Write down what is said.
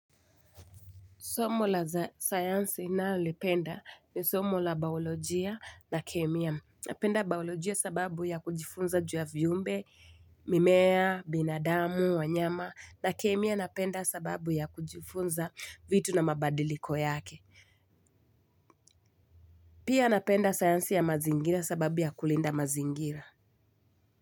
Somo la science ninaolipenda ni somo la baolojia na kemia. Napenda baolojia sababu ya kujifunza juu ya viumbe, mimea, binadamu, wanyama na kemia napenda sababu ya kujifunza vitu na mabadiliko yake. Pia napenda science ya mazingira sababu ya kulinda mazingira.